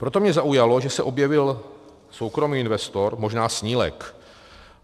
Proto mě zaujalo, že se objevil soukromý investor, možná snílek.